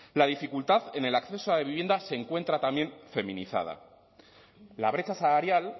la dificultad en el acceso a la vivienda se encuentra también feminizada la brecha salarial